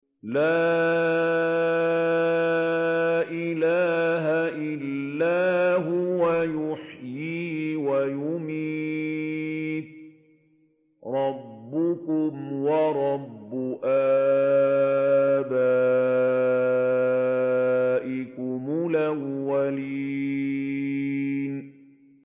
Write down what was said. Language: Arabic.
لَا إِلَٰهَ إِلَّا هُوَ يُحْيِي وَيُمِيتُ ۖ رَبُّكُمْ وَرَبُّ آبَائِكُمُ الْأَوَّلِينَ